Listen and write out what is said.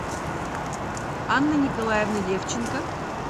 анны николаевны левченко